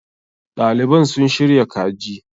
Ɗaliban suna shirya kaji.